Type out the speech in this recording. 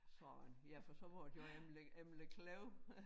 Sådan ja for så var det jo Emmerlev Emmerlev Klev